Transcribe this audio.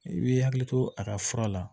I b'i hakili to a ka fura la